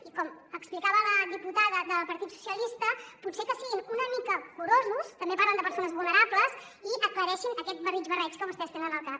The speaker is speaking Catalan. i com explicava la diputada del partit socialista potser que siguin una mica curosos també parlen de persones vulnerables i aclareixin aquest barrig barreig que vostès tenen al cap